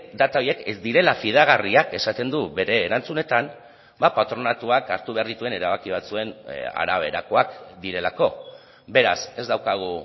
data horiek ez direla fidagarriak esaten du bere erantzunetan patronatuak hartu behar dituen erabaki batzuen araberakoak direlako beraz ez daukagu